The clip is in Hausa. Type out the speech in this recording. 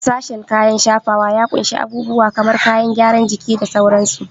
Sashen kayan shafawa ya ƙunshi abubuwa kamar kayan gyaran jiki da sauransu.